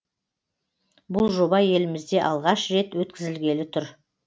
бұл жоба елімізде алғаш рет өткізілгелі тұр